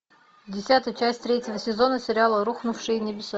десятая часть третьего сезона сериала рухнувшие небеса